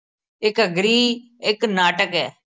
ਇਹ ਘੱਗਰੀ ਇਕ ਨਾਟਕ ਏ।